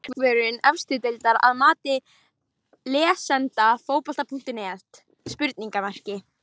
Hver er besti markvörður efstu deildar að mati lesenda Fótbolti.net?